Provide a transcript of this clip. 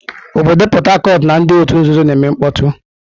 Obodo Port Harcourt na ndị otu nzuzo na-eme mkpọtụ.